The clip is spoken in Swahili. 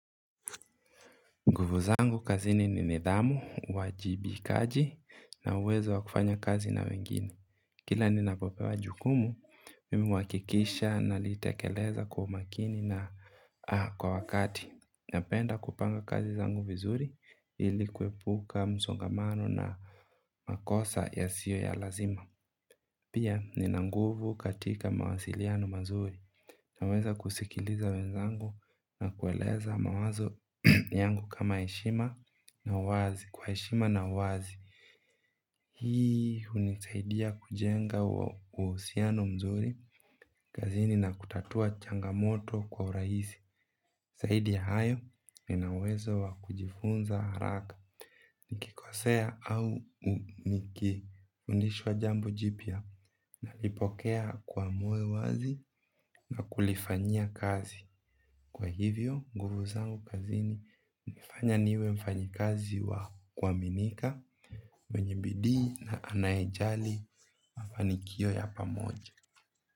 Nguvu zangu kazini ni nidhamu, uwajibikaji na uwezo wa kufanya kazi na wengine. Kila ninapopewa jukumu, mimi huhakikisha nalitekeleza kwa umakini na kwa wakati. Napenda kupanga kazi zangu vizuri ili kuepuka msongamano na makosa yasiyo ya lazima. Pia nina nguvu katika mawasiliano mazuri. Naweza kusikiliza wenzangu na kueleza mawazo yangu kama heshima na uwazi kwa heshima na uwazi. Hii hunisaidia kujenga uhusiano mzuri kazini na kutatua changamoto kwa urahisi zaidi ya hayo nina uwezo wa kujifunza haraka. Nikikosea au nikifundishwa jambo jipya nalipokea kwa moyo wazi na kulifanyia kazi. Kwa hivyo, nguvu zangu kazini hunifanya niwe mfanyikazi wa kuaminika mwenye bidii na anayejali mafanikio ya pamoja.